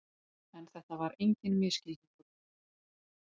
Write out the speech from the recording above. En þetta var enginn misskilningur.